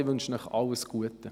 Ich wünsche Ihnen alles Gute.